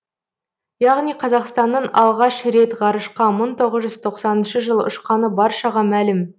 яғни қазақстанның алғаш рет ғарышқа мың тоғыз жүз тоқсаныншы жылы ұшқаны баршаға мәлім